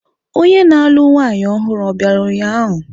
Onye na-alụ nwanyị ọhụrụ o bịara ụnyahụ?